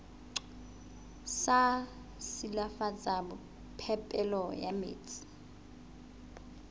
sa silafatsa phepelo ya metsi